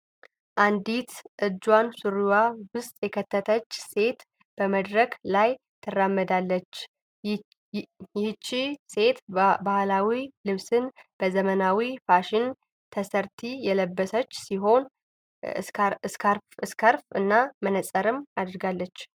አንዲት እንጇን ሱሪዋ ዉስጥ የከተተች ሴት በመድረክ ላይ ትራመዳለች። ይህቺ ሴት ባህላዊ ልብስን በዘመናዎ ፋሽን ተሰርቲ የለበሰች ሲሆን ስካርፍ እና መነጸርንም አድርጋለች።